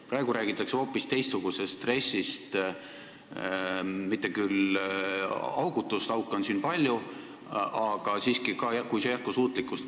Praegu räägitakse hoopis teistsugusest RES-ist, mitte küll augutust, auke on siin palju, aga siiski jätkusuutlikust RES-ist.